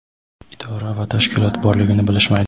idora va tashkilot borligini bilishmaydi.